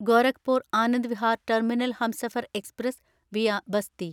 Gorakhpur Anand Vihar terminal Humsafar express (via Basti)